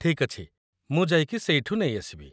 ଠିକ୍ ଅଛି, ମୁଁ ଯାଇକି ସେଇଠୁ ନେଇ ଆସିବି